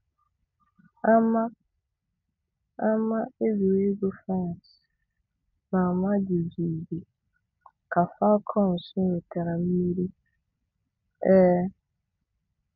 Ama Ama egwuregwu France na-ama jijiji ka Falcons nwetara mmeri. um